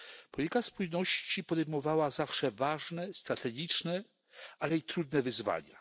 Polityka spójności podejmowała zawsze ważne, strategiczne, ale i trudne wyzwania.